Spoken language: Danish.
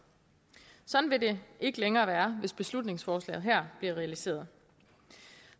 sådan vil det ikke længere være hvis beslutningsforslaget her bliver realiseret